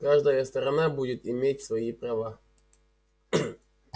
каждая сторона будет иметь свои права